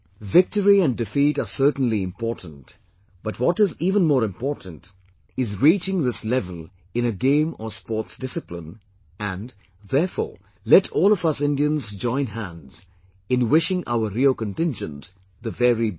Victory and defeat are certainly important, but what is even more important is reaching this level in a game or sports discipline and, therefore, let all of us Indians join hands in wishing our RIO contingent the very best